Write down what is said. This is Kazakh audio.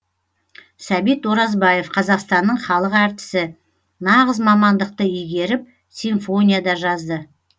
сәбит оразбаев қазақстанның халық әртісі нағыз мамандықты игеріп симфония да жазды